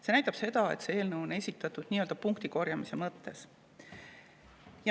See näitab seda, et see eelnõu on esitatud nii-öelda punktikorjamise mõttes.